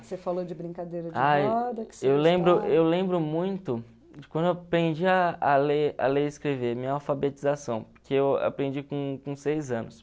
Você falou de brincadeira de Eu lembro eu lembro muito de quando eu aprendi a a ler a ler e escrever, minha alfabetização, que eu aprendi com com seis anos.